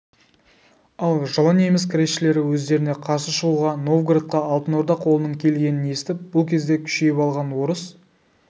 ал жылы неміс кресшілері өздеріне қарсы шығуға новгородқа алтын орда қолының келгенін естіп бұл кезде күшейіп алған орыс